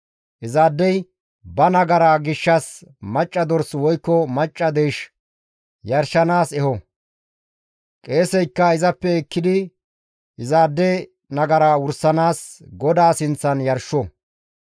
Izaadey ba nagaraa gishshas macca dors woykko macca deysh yarshanaas eho; qeeseykka izappe ekkidi izaade nagara wursanaas GODAA sinththan yarsho.